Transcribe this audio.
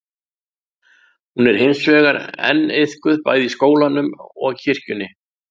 Hún er hins vegar enn iðkuð bæði í skólanum og kirkjunni.